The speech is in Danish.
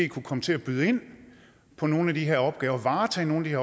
kunne komme til at byde ind på nogle af de her opgaver og varetage nogle